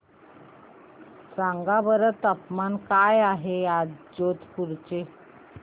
सांगा बरं तापमान काय आहे आज जोधपुर चे